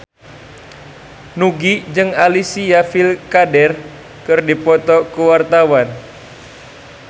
Nugie jeung Alicia Vikander keur dipoto ku wartawan